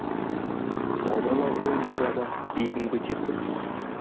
аудан абыройын бір адам бегім көтерді